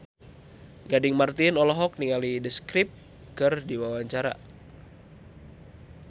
Gading Marten olohok ningali The Script keur diwawancara